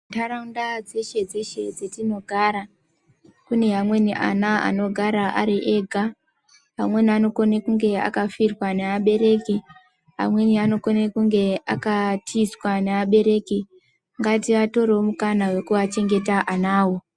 Ndaraunda dzeshe dzeshe dzatinogara kune amweni ana anogara Ari ega amweni ana anenge akafirwa nevabereki amweni anokona kunge akatizwa nevabereki ngativatore mukana wekuvavhengeta vanavo.